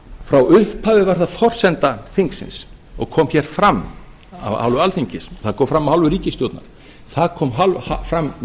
frá upphafi var það forsenda þingsins og kom hér fram af hálfu alþingis það kom fram af hálfu ríkisstjórnar það kom fram